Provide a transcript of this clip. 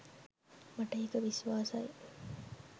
මට ඒක විශ්වාසයි.